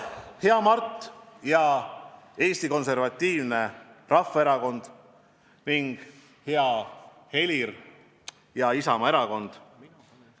Hea Mart ja Eesti Konservatiivne Rahvaerakond ning hea Helir ja Isamaa erakond!